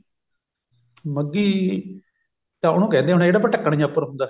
ਮੱਘੀ ਤਾਂ ਉਹਨੂੰ ਕਹਿੰਦੇ ਹੋਣੇ ਜਿਹੜਾ ਆਪਾਂ ਢੱਕਣ ਜਾਂ ਉੱਪਰ ਹੁੰਦਾ